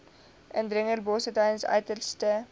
indringerbosse tydens uiterste